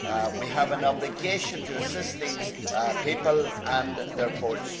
We have an obligation to assist these people and their